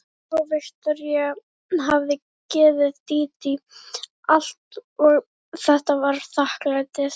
Já, Viktoría hafði gefið Dídí allt og þetta var þakklætið.